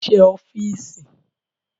Mo rí iṣẹ́ ẹ ọ́fíìsì